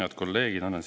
Head kolleegid!